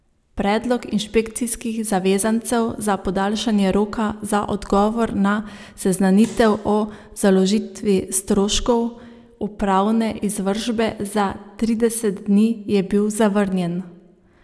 Predlog inšpekcijskih zavezancev za podaljšanje roka za odgovor na seznanitev o založitvi stroškov upravne izvršbe za trideset dni je bil zavrnjen.